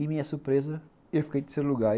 E, minha surpresa, eu fiquei em terceiro lugar.